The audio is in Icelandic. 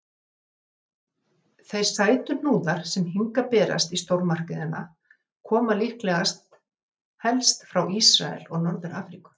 Þeir sætuhnúðar sem hingað berast í stórmarkaðina koma líklega helst frá Ísrael og Norður-Afríku.